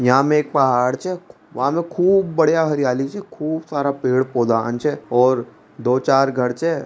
यहां म एक पहाड़ छ वहां में खूब बढ़िया हरियाली छे खूब सारा पेड़ पौधा छ दो-चार घर छ।